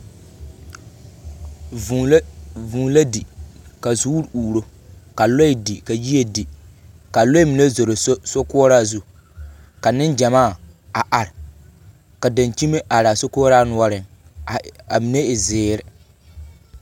Vūū la di, ka zoore uuro, ka lɔɛ di, ka yie di, ka a lɔɛ mine zoro sokoɔraa zu, ka neŋgyamaa a are, ka dankyime araa sokoɔraa noɔreŋ, a mine e zeere.